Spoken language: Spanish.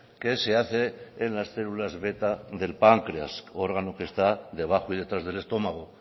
que se hace en las células beta del páncreas órgano que está de bajo y detrás del estómago